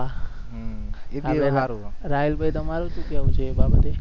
રાહિલભાઈ તમારે શુ કહેવુ છે એ બાબતે?